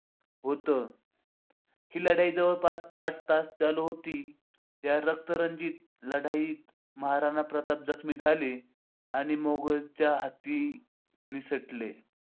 होत. ही लढाई जवळपास आठ तास चालू होती. या रक्तरंजित लढाईत महाराणा प्रताप जखमी झाले आणि मोगलांच्या हातून निसटले.